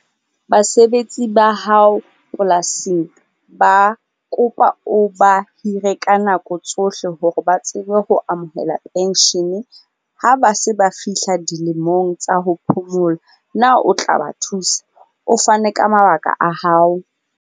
Basebetsi ba hao polasing ba kopa o ba hire ka nako tsohle hore ba tsebe ho amohela pension ha ba se ba fihla dilemong tsa ho phomola. Na o tla ba thusa? O fane ka mabaka a hao.